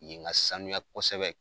Yen ka sanuya kosɛbɛ.